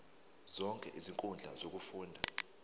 zonke izinkundla zokufunda